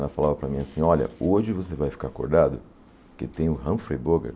Ela falava para mim assim, olha, hoje você vai ficar acordado porque tem o Humphrey Bogart.